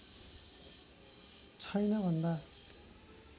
छैन भन्दा